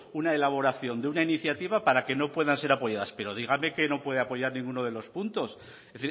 una elaboración de una iniciativa para que no puedan ser apoyadas pero dígame que no puede apoyar ninguno de los puntos es